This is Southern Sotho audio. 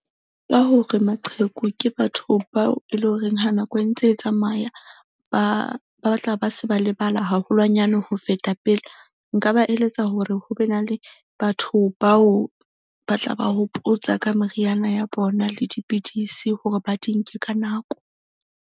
Ka hore maqheku ke batho bao e leng horeng ha nako e ntse e tsamaya, ba batla ba se ba lebala haholwanyane ho feta pele. Nka ba eletsa hore ho be na le batho bao ba tla ba hopotsa ka meriana ya bona le dipidisi hore ba di nke ka nako.